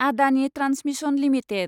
Adani Transmission limited